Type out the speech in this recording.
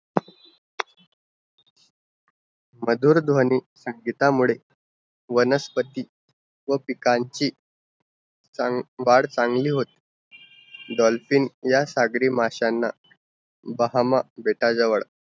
मधुर ध्वनी संगीतामुळे वनस्पति व पिकांच चांग वाढ चांगली हो dolphin या सागरी माशांनां बहामा बेताजवर